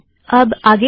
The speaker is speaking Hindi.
अब आगे क्या